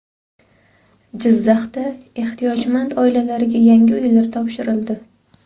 Jizzaxda ehtiyojmand oilalarga yangi uylar topshirildi.